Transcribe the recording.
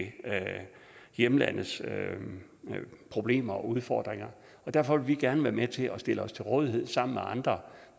hjemlandets problemer og udfordringer og derfor vil vi gerne være med til at stille os til rådighed sammen med andre